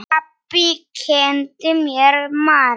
Pabbi kenndi mér margt.